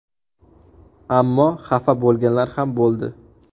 Ammo xafa bo‘lganlar ham bo‘ldi.